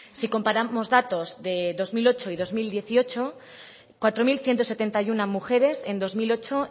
si comparamos datos de dos mil ocho y dos mil dieciocho cuatro mil ciento setenta y uno mujeres en dos mil ocho